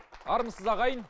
армысыз ағайын